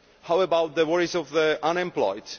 what about the worries of the unemployed